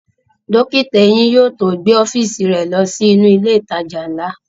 Dókítà eyín yóò tó gbé ọ́fíìsì rẹ̀ ló sí inú ilẹ̀ ìtajà ńlá